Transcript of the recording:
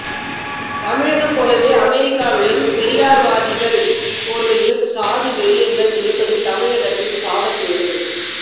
தமிழகம் போலவே அமெரிக்காவிலும் பெரியாரிவாதிகள் போர்வையில் சாதி வெறியர்கள் இருப்பது தமிழினத்தின் சாபக்கேடே